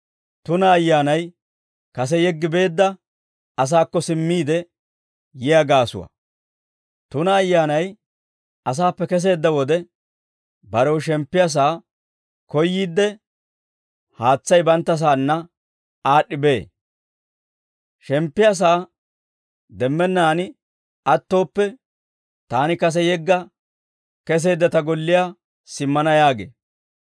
«Tuna ayyaanay asaappe keseedda wode, barew shemppiyaa sa'aa koyyiidde, haatsay banttasaanna aad'd'i bee. Shemppiyaa sa'aa demmennaan attooppe, ‹Taani kase yegga keseedda ta golliyaa simmana› yaagee;